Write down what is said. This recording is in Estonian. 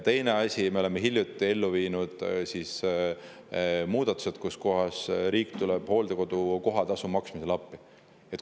Teine asi: me oleme hiljuti ellu viinud muudatused, millega riik tuleb hooldekodukoha tasu maksmisel appi.